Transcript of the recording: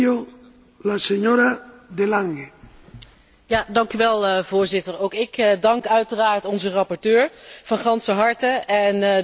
Voorzitter, ook ik dank uiteraard onze rapporteur van ganser harte en de Europese consument wordt zeker beter geïnformeerd door deze wetgeving.